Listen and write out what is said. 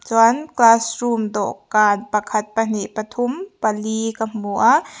chuan class room dawhkan pakhat pahnih pathum pali ka hmu a--